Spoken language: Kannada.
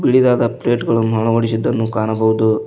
ಬಿಳಿದಾದ ಪ್ಲೇಟ್ ಗಳನ್ನು ಅಳವಡಿಸಿದ್ದನ್ನು ಕಾಣಬಹುದು.